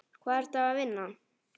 Hvar ertu að vinna?